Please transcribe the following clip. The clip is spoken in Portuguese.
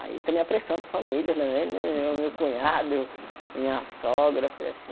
Aí também a pressão da família também né, meu meu cunhado, minha sogra foi assim.